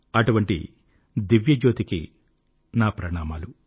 అటువంటి దివ్యజ్యోతికి నా ప్రణామములు